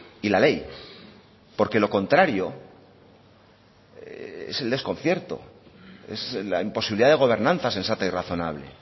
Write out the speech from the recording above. y la ley porque lo contrario es el desconcierto es la imposibilidad de gobernanza sensata y razonable